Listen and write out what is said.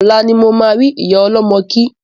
Ọ̀la ni mo ma ri ìyá ọlọ́mọ kí